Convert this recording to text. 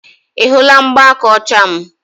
ị hụla mgbaaka ọcha m